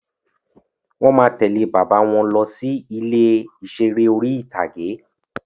Wọ́n máa tẹ̀lẹ́ bàbá wọn lọ sí ilé ìseré orí-ìtágé